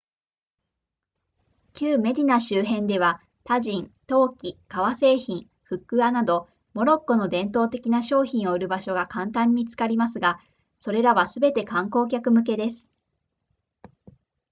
旧メディナ周辺ではタジン陶器革製品フックアなどモロッコの伝統的な商品を売る場所が簡単に見つかりますがそれらはすべて観光客向けです